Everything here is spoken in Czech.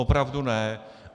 Opravdu ne.